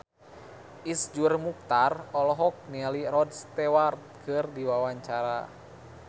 Iszur Muchtar olohok ningali Rod Stewart keur diwawancara